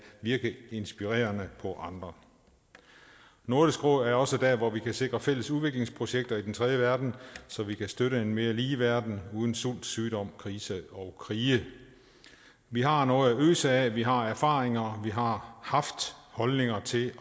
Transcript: virke inspirerende på andre nordisk råd er også der hvor vi kan sikre fælles udviklingsprojekter i den tredje verden så vi kan støtte en mere lige verden uden sult sygdom kriser og krige vi har noget at øse af vi har erfaringer vi har haft holdninger til